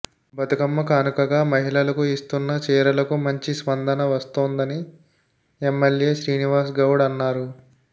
బతుకమ్మ కానుకగా మహిళలకు ఇస్తున్న చీరలకు మంచి స్పందన వస్తోందని ఎమ్మెల్యే శ్రీనివాస గౌడ్ అన్నారు